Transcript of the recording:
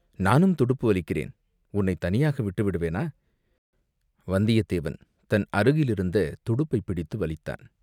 "நானும் துடுப்பு வலிக்கிறேன், உன்னைத் தனியாக விட்டுவிடுவேனா?" வந்தியத்தேவன் தன் அருகிலிருந்த துடுப்பைப் பிடித்து வலித்தான்.